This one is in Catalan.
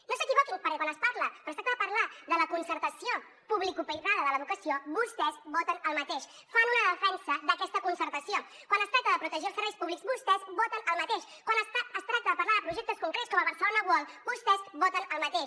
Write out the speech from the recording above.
no s’equivoquin perquè quan es parla quan es tracta de parlar de la concertació publicoprivada de l’educació vostès voten el mateix fan una defensa d’aquesta concertació quan es tracta de protegir els serveis públics vostès voten el mateix quan es tracta de parlar de projectes concrets com el barcelona world vostès voten el mateix